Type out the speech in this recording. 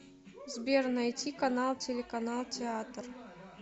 сбер найти канал телеканал театр